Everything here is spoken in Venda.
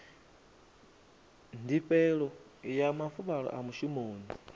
ndifhelo ya mafuvhalo a mushumoni